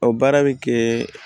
O baara bɛ kɛ